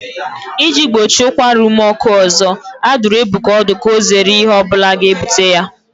Iji gbochie ụkwara ume ọkụ ọzọ, a dụrụ Ebuka ọdụ ka ọ zere ihe ọ bụla ga-ebute ya